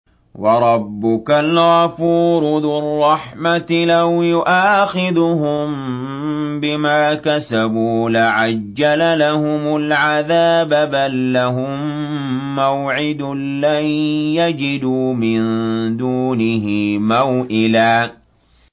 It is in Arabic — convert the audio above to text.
وَرَبُّكَ الْغَفُورُ ذُو الرَّحْمَةِ ۖ لَوْ يُؤَاخِذُهُم بِمَا كَسَبُوا لَعَجَّلَ لَهُمُ الْعَذَابَ ۚ بَل لَّهُم مَّوْعِدٌ لَّن يَجِدُوا مِن دُونِهِ مَوْئِلًا